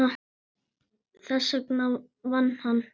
Þess vegna vann hann.